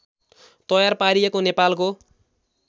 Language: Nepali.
तयार पारिएको नेपालको